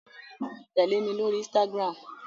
Tẹ̀lé mi lórí Instagram!